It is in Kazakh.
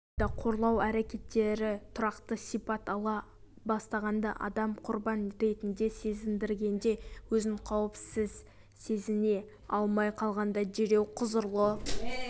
алайда қорлау әрекеттері тұрақты сипат ала бастағанда адамды құрбан ретінде сезіндіргенде өзін қауіпсіз сезіне алмай қалғанда дереу құзырлы